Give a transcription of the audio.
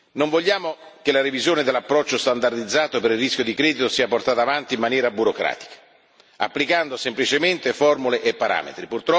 Non vogliamo che la revisione dell'approccio standardizzato per il rischio di credito sia portata avanti in maniera burocratica, applicando semplicemente formule e parametri.